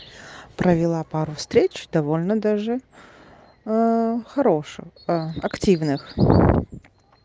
правила пару встреч довольно даже хорошую активных